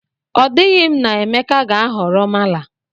O dighi m na Emeka ga-ahọrọ mala